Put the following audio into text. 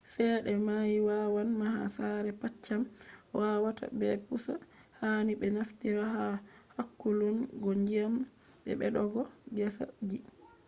cede mai wawan maha sare paccam wawa ta bpusa hani be naftira ha hakkulun go ndyiam, be beddogo gesa ji